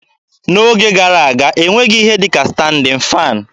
N'oge gara aga, e nweghị ihe dị ka standịn faanị